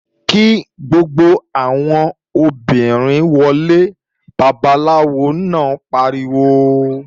Kí gbogbo àwọn obìnrin wọlé! Babaláwo náà pariwo!